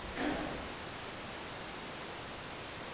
Señor presidente. Yo creo que nos ha quedado un buen informe.